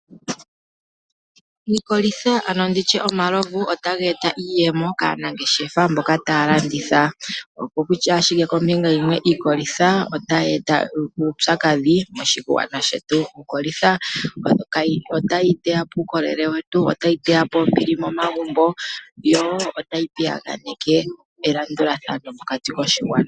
Iikolitha ando nditye omalovu otaga eta iiyemo kaanangeshefa mboka taya landitha. Oko kutya ashike kombinga yimwe iikolitha otayi eta uupyakadhi moshigwana shetu. Iikolitha otayi teya po uukolele wetu , otayi teya po ombili momagumbo yo otayi piyaganeke elandulathano mokati koshigwana.